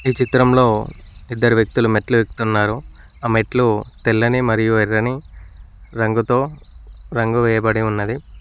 ఈ చిత్రంలో ఇద్దరు వ్యక్తులు ఆ మెట్లు ఎక్కుతున్నారు ఆ మెట్లు తెల్లని మరియు రంగుతో రంగు వేయబడి ఉన్నది